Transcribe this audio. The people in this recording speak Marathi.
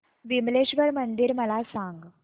विमलेश्वर मंदिर मला सांग